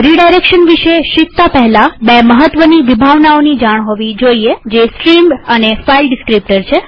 redirection વિશે શીખતા પહેલા આપણને બે મહત્વની વિભાવનાઓની જાણ હોવી જોઈએજે છે સ્ટ્રીમ અને ફાઈલ ડીસ્ક્રીપ્ટર